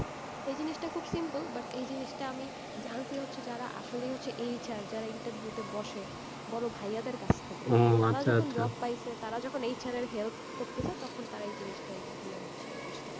এই জিনিস টা খুব simple, but এই জিনিস টা আমি জানছি হচ্ছে যারা আসলেই হচ্ছে HR যারা interview তে বসে, বড় ভাইয়া দের কাছ থেকে, তারা যখন job পাইসে, তারা যখন HR এর help করতেসে, তখন তারা হচ্ছে, এই জিনিসটা আরকি ইয়ে হচ্ছে, বুঝতে পারছে,